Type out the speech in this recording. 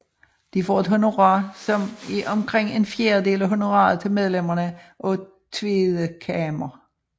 De får et honorar som er omkring en fjerdedel af honoraret til medlemmerne af Tweede Kamer